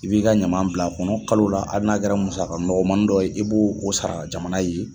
I b'i ka ɲama bila kɔnɔ kalo la hali n'a kɛra musaka nɔgɔmani dɔ ye i bo o sara jamana ye.